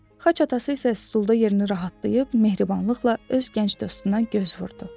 Xaç atası isə stulda yerini rahatlayıb, mehribanlıqla öz gənc dostundan göz vurdu.